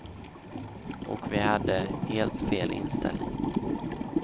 Och vi hade helt fel inställning.